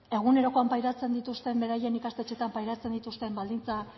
egunerokoan pairatzen dituzten beraien ikastetxeetan pairatzen dituzten baldintza